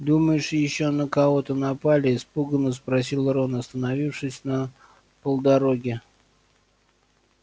думаешь ещё на кого-то напали испуганно спросил рон остановившись на полдороге